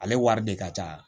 Ale wari de ka ca